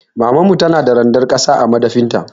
Mamana tana da randar ƙasa a madafin ta.